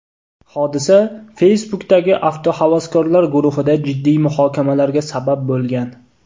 Hodisa Facebook’dagi avtohavaskorlar guruhida jiddiy muhokamalarga sabab bo‘lgan.